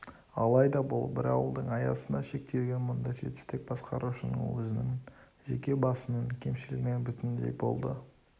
алайда бұл бір ауылдың аясында шектелген мұндай жетістік басқарушының өзінің жеке басының кемшілігінен бүтіндей болды